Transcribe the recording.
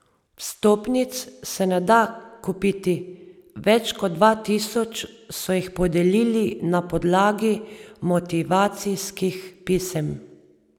Vstopnic se ne da kupiti, več kot dva tisoč so jih podelili na podlagi motivacijskih pisem.